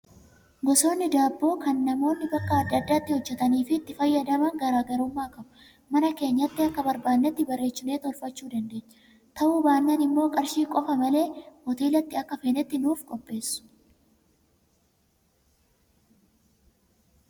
Gosoonni daabboo kan namoonni bakka adda addaatti hojjatanii fi itti fayyadaman garaagarummaa qabu. Mana keenyatti akka barbaadnetti bareechinee tolfachuu dandeenya. Ta'uu baannaan immoo qarshii qofa malee hoteelatti akka feenetti nuuf qopheessu.